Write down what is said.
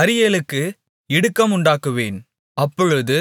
அரியேலுக்கு இடுக்கம் உண்டாக்குவேன் அப்பொழுது